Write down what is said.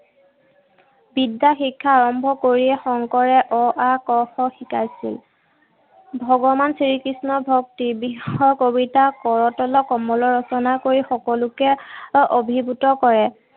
বিদ্যা শিক্ষা আৰম্ভ কৰিয়েই শংকৰে অ-আ ক-খ শিকাইছিল। ভগৱান শ্ৰীকৃষ্ণৰ ভক্তি বিষয়ক কবিতা কৰতল কমল ৰচনা কৰি সকলোকে অভিভূত কৰে।